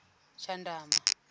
tshandama